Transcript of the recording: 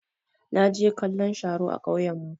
Na je kallon sharo a ƙauyan mu.